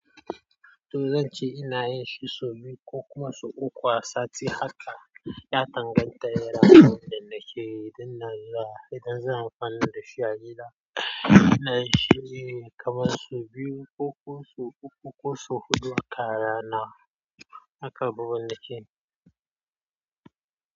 Toh zan ce ina yin shi sau biyu ko kuma sau uku a sati. Haka ya danganta da irin abunda nake yi. Idan zan kwana da shi a gida, ina yin shi ne kamar sau biyu ko kuma sau uku ko sau huɗu haka a rana. Haka babu wani kin.